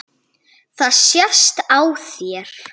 Það sést á þér